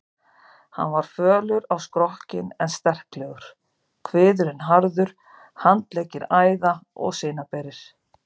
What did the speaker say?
Hann var fölur á skrokkinn en sterklegur, kviðurinn harður, handleggir æða- og sinaberir.